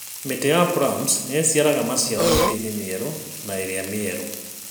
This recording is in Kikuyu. Mĩtĩ ya plums nĩ ĩciaraga maciaro mĩtĩ-inĩ mĩerũ na ĩrĩa mĩerũ